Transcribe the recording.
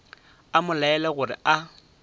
a mo laela gore a